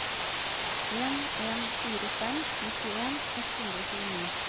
en en fire fem nittien ett hundre og tjueni